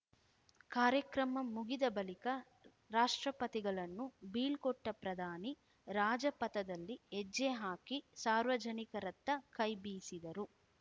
ಕಾರ್ಯಕ್ರಮ ಮುಗಿದ ಬಳಿಕ ರಾಷ್ಟ್ರಪತಿಗಳನ್ನು ಬೀಳ್ಕೊಟ್ಟಪ್ರಧಾನಿ ರಾಜಪಥದಲ್ಲಿ ಹೆಜ್ಜೆ ಹಾಕಿ ಸಾರ್ವಜನಿಕರತ್ತ ಕೈಬೀಸಿದರು